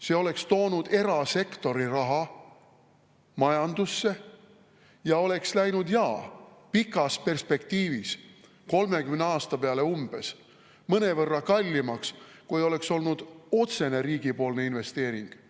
See oleks toonud erasektori raha majandusse ja oleks läinud, jaa, pikas perspektiivis, 30 aasta peale mõnevõrra kallimaks, kui oleks olnud otsene riigipoolne investeering.